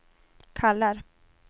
kallar